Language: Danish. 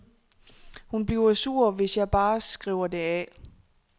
Hun bliver sur, hvis jeg bare skriver det af.